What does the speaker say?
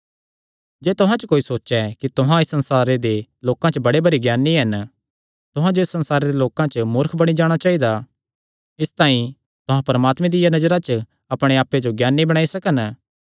जे तुहां च कोई सोचैं कि तुहां इस संसारे दे लोकां च बड़े भरी ज्ञानी हन तुहां जो इस संसारे दे लोकां च मूर्ख बणी जाणा चाइदा इसतांई तुहां परमात्मे दिया नजरा च अपणे आप्पे जो ज्ञानी बणाई सकन